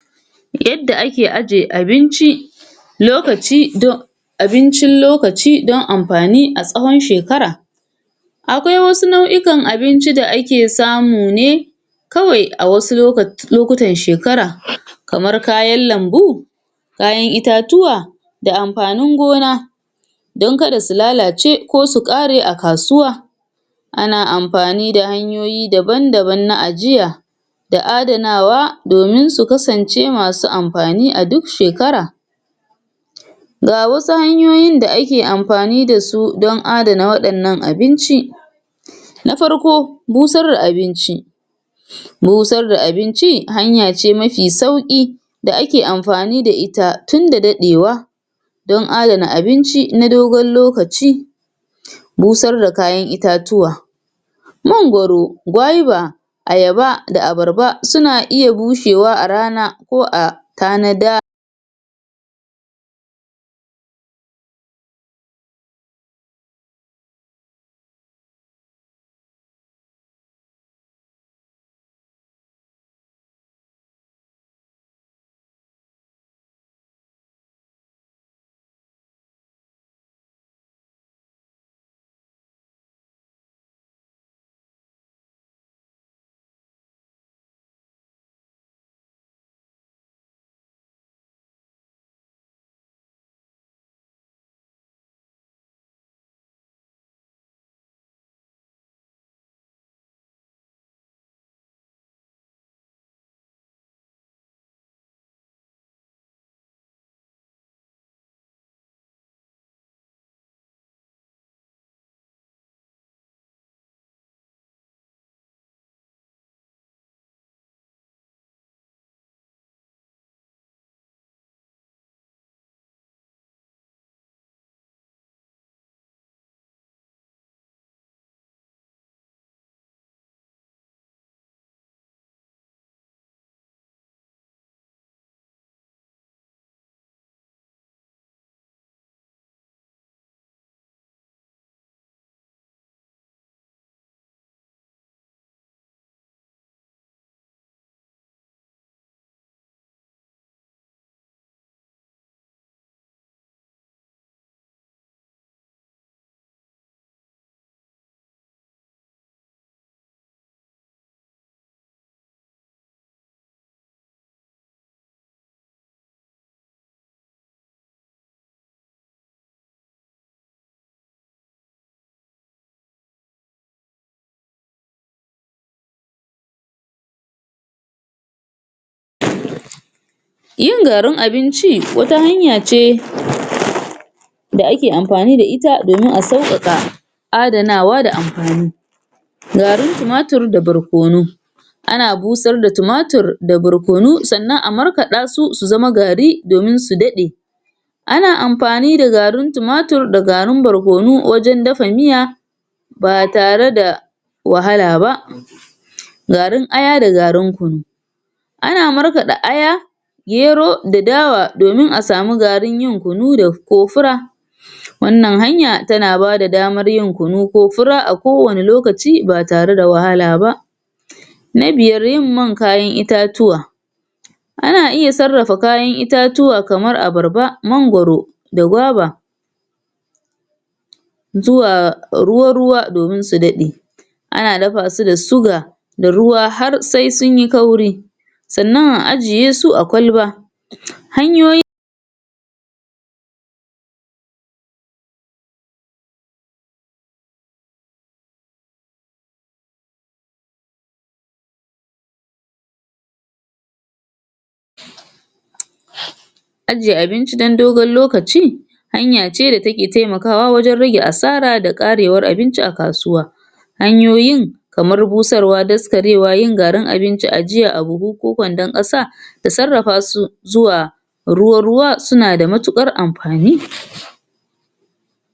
Yadda ake ajjiye abinci lokaci don abincin lokaci dan amfani a tsawan shekara akwai wasu nau'ikan abinci da ake samu ne kawai a wasu lokutan shekara kamar kayan lambu kayan itatuwa da amfanin gona dan kada su lalace, ko su kare a kasuwa ana amfani da hanyoyi daban-daban na ajiya da adanawa domin su kasance masu amfani a duk shekara ga wasu hanyoyin da ake amfani da su dan adana wadannan abinci na farko busar da abinci busar da abinci hanyace mafi sauki da ake amfani da ita tunda dadewa dan adana abinci na dogon lokaci busar da kayan itatuwa mangwaro, gwaiba ayaba da abarba suna iya bushewa a rana ko a tanada yin garin abinci wata hanya ce da ake amfani da ita damin a saukaka adanawa da amfani garin tumatur da barkonu ana busar da tumatur da barkonu su zama barkonu sannan a markada su, su zama gari domin su dade ana amfani da garin timatir da barkonu wajan dafa miya ba tare da wahala ba garin aya da garin kunu ana markada aya gero da dawa domin a samu garin yin kunu da ko fura wanyan hanya tana ba da daman yin kunu ko fura a kowani lokaci ba tare da wahala ba na biyar yin man kayan itatuwa ana iya sarrafa kayan itatuwa kamar abarba maangoro da gwaba zuwa ruwa-ruwa domin su dade ana dafa su da suga da ruwa har sai sunyi kauri sannan a ajiyesu a kwalba hanyoyi aje abinc dan dogon lokaci hanya ce da take temakawa wajan rage asara da karewan abibci a kasuwa hanyoyin kamar busarwa daskarewa yin garin abinci ajiya a buhu ko kwandon kasa da sarrafa su zuwa ruwa-ruwa suna da matukar amfani